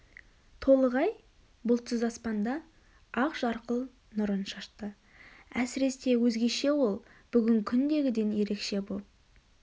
толық ай бұлтсыз аспанда ақ жарқыл нұрын шашты әсіресе өзгеше ол бүгін күндегіден ерекше боп